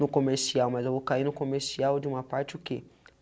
no comercial, mas eu vou cair no comercial de uma parte o que?